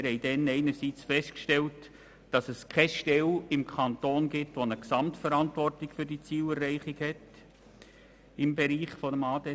Wir haben einerseits festgestellt, dass es keine Stelle im Kanton gibt, welche die Gesamtverantwortung für die Zielerreichung im Bereich ADT innehat.